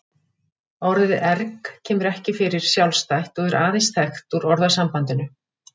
Orðið erg kemur ekki fyrir sjálfstætt og er aðeins þekkt úr orðasambandinu.